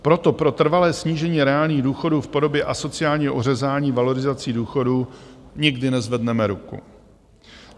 Proto pro trvalé snížení reálných důchodů v podobě asociálního ořezání valorizací důchodů nikdy nezvedneme ruku.